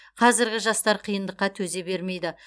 қазіргі жастар қиындыққа төзе бермейді